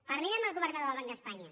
parlin amb el governador del banc d’espanya